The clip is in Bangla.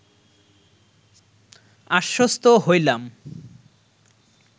আশ্বস্ত হইলাম